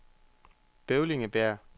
Bøvlingbjerg